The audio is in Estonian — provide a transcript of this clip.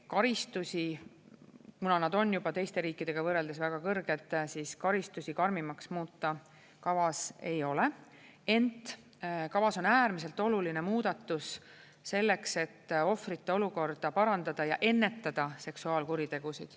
Karistusi, kuna nad on juba teiste riikidega võrreldes väga kõrged, siis karistusi karmimaks muuta kavas ei ole, ent kavas on äärmiselt oluline muudatus selleks, et ohvrite olukorda parandada ja ennetada seksuaalkuritegusid.